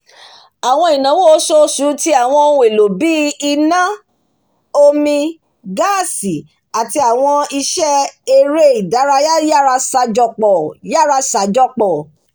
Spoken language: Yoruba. àwọn ináwó oṣooṣù ti àwọn ohun èlò bíi iná omi gaasi àti àwọn iṣẹ́ eré ìdárayá yara ṣàjọpọ̀